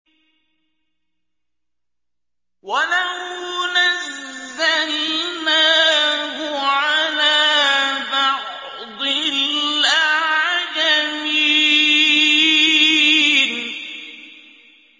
وَلَوْ نَزَّلْنَاهُ عَلَىٰ بَعْضِ الْأَعْجَمِينَ